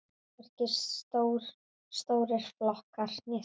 Hvorki stórir flokkar né smáir.